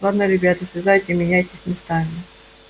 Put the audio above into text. ладно ребята слезайте меняйтесь местами